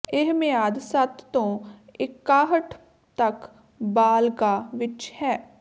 ਇਹ ਮਿਆਦ ਸੱਤ ਤੋਂ ਇਕਾਹਠ ਤੱਕ ਬਾਲਗ਼ਾਂ ਵਿਚ ਹੈ